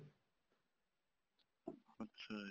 ਅੱਛਾ ਜੀ